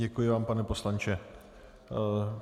Děkuji vám, pane poslanče.